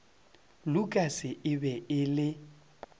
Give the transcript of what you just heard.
lukas e be e le